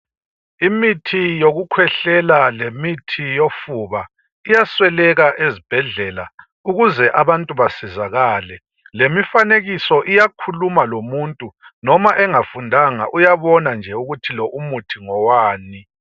Imithi yokukhwehlela lemithi yofuba iyasweleka ezibhedlela .Ukuze abantu besizakale lemifanekiso iyakhuluma lomuntu, noma engafundanga uyabona ukuthi lo umuthi ngowani.